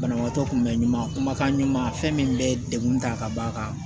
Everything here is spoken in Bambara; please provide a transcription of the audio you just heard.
Banabaatɔ kunbɛn ɲuman kumakan ɲuman fɛn min bɛ degun ta ka bɔ a kan